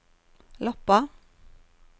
Loppa